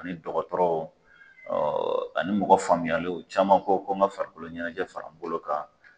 Ani dɔgɔtɔrɔw ɔɔ ani mɔgɔ faamuyalenw caman ko ko n ka farikolo ɲɛnɛjɛ fara n bolo kan